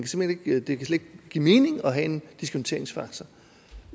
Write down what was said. slet ikke kan give mening at have en diskonteringsfaktor